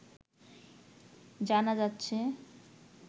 জানা যাচ্ছে